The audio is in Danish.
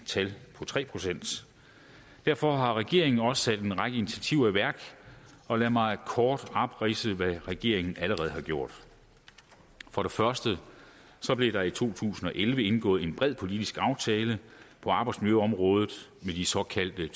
tal på tre procent derfor har regeringen også sat en række initiativer i værk og lad mig kort opridse hvad regeringen allerede har gjort for det første blev der i to tusind og elleve indgået en bred politisk aftale på arbejdsmiljøområdet med de såkaldte